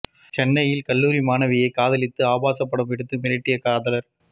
சென்னையில் கல்லூரி மாணவியை காதலித்து ஆபாச படம் எடுத்து மிரட்டிய காதலர்